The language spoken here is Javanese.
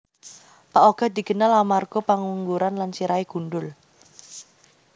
Pak Ogah dikenal amarga pengangguran lan sirahé gundhul